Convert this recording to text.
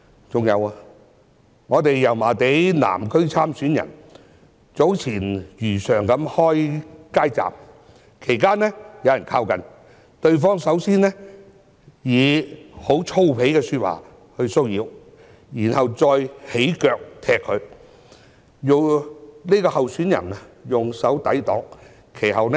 再者，一位民建聯油麻地南區參選人早前如常開設街站，其間有人靠近，首先以粗鄙的說話騷擾，然後再用腳踢向候選人，候選人以手抵擋。